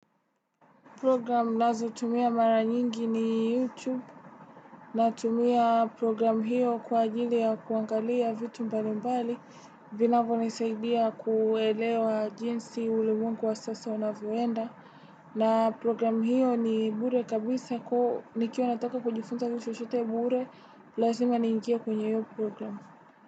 Program nazotumia mara nyingi ni YouTube. Natumia programu hiyo kwa ajili ya kuangalia vitu mbali mbali. Vinavyo nisaidia kuelewa jinsi ulimwengu wa sasa unavyoenda. Na program hiyo ni bure kabisa ku nikiwa nataka kujifunza kitu chochote bure. Lazima niingie kwenye hiyo program.